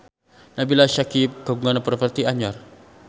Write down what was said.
Nabila Syakieb kagungan properti anyar